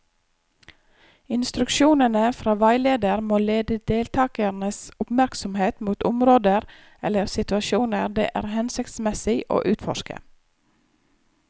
Instruksjonene fra veileder må lede deltakernes oppmerksomhet mot områder eller situasjoner det er hensiktsmessig å utforske.